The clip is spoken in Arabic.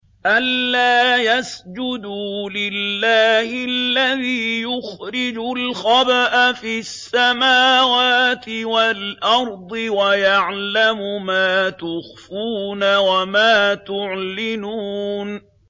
أَلَّا يَسْجُدُوا لِلَّهِ الَّذِي يُخْرِجُ الْخَبْءَ فِي السَّمَاوَاتِ وَالْأَرْضِ وَيَعْلَمُ مَا تُخْفُونَ وَمَا تُعْلِنُونَ